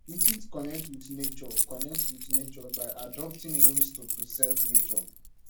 we fit connect with nature connect with nature by adopting ways to preserve nature